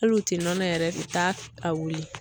Hali u tɛ nɔnɔ yɛrɛ ta a wili